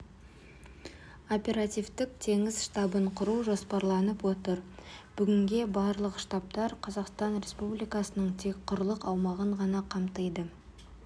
оперативтік теңіз штабын құру жоспарланып отыр бүгінге барлық штабтар қазақстан республикасының тек құрлық аумағын ғана қамтиды